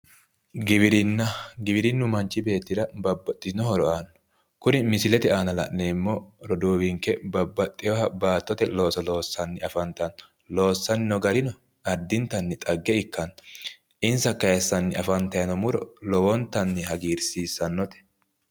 Giwirinna gwiririnnu mannahi beettira babbaxxitino horo aanno kuri misilete aana la'neemmo roduuwinke babbaxxiniha baattote looso loossanni afantanno, loossanni noo garino addintanni xagge ikkanno insa kayiisanni afantanno muro lowontanni hagiirsiissannote.